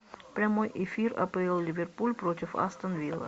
прямой эфир апл ливерпуль против астон вилла